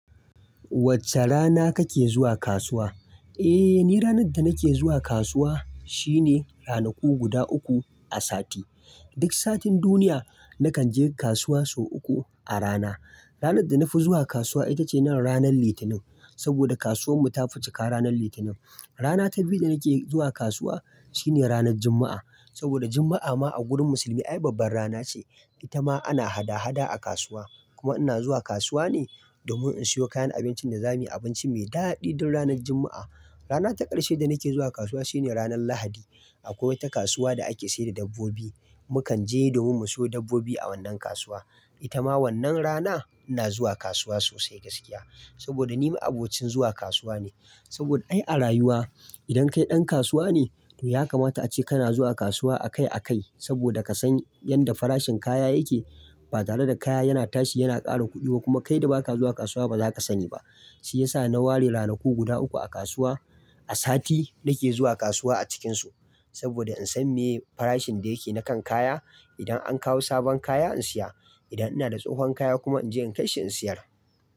Wacce, rana kake zuwa kasuwa? Eh, ni ranar da nake zuwa kasuwa, shine ranaku guda uku a sati. Duk satin duniya, nakan je kasuwa sau uku, a rana. Ranar da na fi zuwa kasuwa ita ce ranar Litinin, saboda kasuwar mu ta ficika ranar Litinin. Rana ta biyu da nake zuwa kasuwa, shine ranar Juma'a, saboda Juma'a ma a gurin musulmi ai babban rana ce. Ita ma ana hada-hada a kasuwa. Kuma ina zuwa kasuwa ne, domin in siyo kayan abincin da za muyi abinci mai daɗi don ranar Juma'a. Rana ta ƙarshe da nake zuwa kasuwa shine ranar Lahadi. Akwai wata kasuwa da ake sayar da dabbobi. Mukanje, domin mu siyo dabbobi a wannan kasuwa. Ita ma wannan rana ina zuwa kasuwa sosai gaskiya. Saboda ni ma abocin zuwa kasuwa ne. Saboda ai a rayuwa, idan kai ɗan kasuwa ne, to ya kamata ace kana zuwa kasuwa akai-akai, saboda ka san yadda farashin kaya yake. Ba tare da kaya yana tashi yana ƙara kuɗi ba, kuma kai da ba ka zuwa kasuwa ba zaka sani ba. Shi yasa na ware ranaku guda uku a kasuwa, a sati, nake zuwa kasuwa a cikinsu. Saboda in san me, farashin da yake na kan kaya. Idan an kawo sabon kaya, in siya. Idan ina da tsahon kaya kuma, in je in kai shi in siyar.